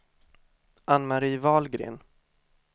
Ann-Mari Wahlgren